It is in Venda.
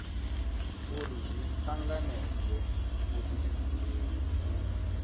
uri zwi tanganedze vhudifhinduleli u